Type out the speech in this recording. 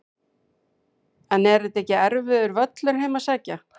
En er þetta ekki erfiður völlur heim að sækja?